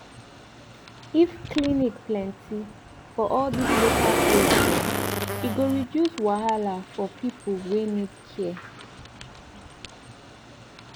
if clinic plenti for all dis local place dem e go reduce wahala for pipu wey need care